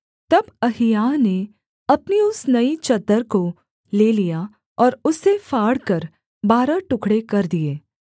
तब अहिय्याह ने अपनी उस नई चद्दर को ले लिया और उसे फाड़कर बारह टुकड़े कर दिए